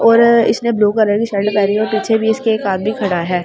और इसने blue colour की शर्ट पहरी और पीछे भी इसके एक आदमी खड़ा है।